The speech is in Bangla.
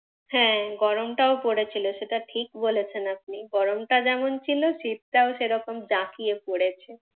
হ্যাঁ গরম টাও পড়েছিল সেটা ঠিক বলেছেন আপনি। গরমটা যেমন ছিলও শীত টাও সেরকম জাঁকিয়ে পড়েছে।